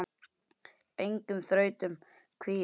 Engum þrautum kvíði.